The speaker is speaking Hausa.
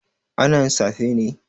Ana yin safe ne?